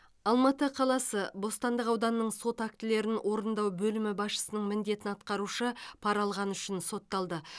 алматы қаласы бостандық ауданының сот актілерін орындау бөлімі басшысының міндетін атқарушы пара алғаны үшін сотталды